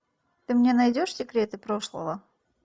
ты мне найдешь секреты прошлого